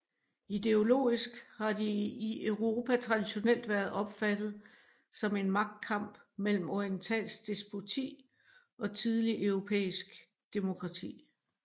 Ideologisk har de i Europa traditionelt været opfattet som en magtkamp mellem orientalsk despoti og tidligt europæisk demokrati